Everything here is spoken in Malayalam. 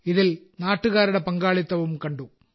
ഇതിൽ നാട്ടുകാരുടെ പങ്കാളിത്തവും കണ്ടു